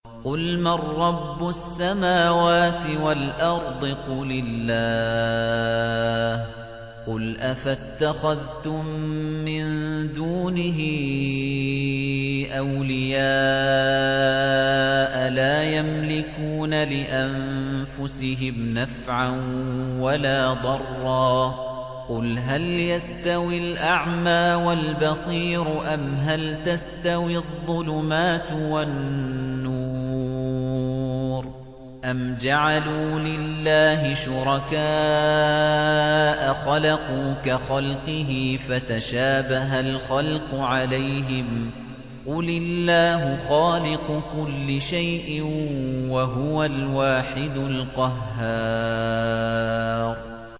قُلْ مَن رَّبُّ السَّمَاوَاتِ وَالْأَرْضِ قُلِ اللَّهُ ۚ قُلْ أَفَاتَّخَذْتُم مِّن دُونِهِ أَوْلِيَاءَ لَا يَمْلِكُونَ لِأَنفُسِهِمْ نَفْعًا وَلَا ضَرًّا ۚ قُلْ هَلْ يَسْتَوِي الْأَعْمَىٰ وَالْبَصِيرُ أَمْ هَلْ تَسْتَوِي الظُّلُمَاتُ وَالنُّورُ ۗ أَمْ جَعَلُوا لِلَّهِ شُرَكَاءَ خَلَقُوا كَخَلْقِهِ فَتَشَابَهَ الْخَلْقُ عَلَيْهِمْ ۚ قُلِ اللَّهُ خَالِقُ كُلِّ شَيْءٍ وَهُوَ الْوَاحِدُ الْقَهَّارُ